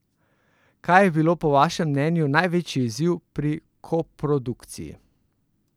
Kaj pa je bil po vašem mnenju največji izziv pri koprodukciji?